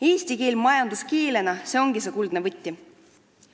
Eesti keel majanduskeelena – see ongi see kuldne võti.